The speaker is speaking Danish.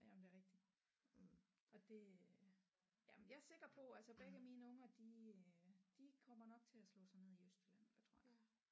Jamen det er rigtig og det øh jamen jeg er sikker på altså begge mine unger de øh de kommer nok til at slå sig ned i Østjylland tror jeg